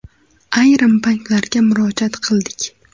Ayrim banklarga murojaat qildik.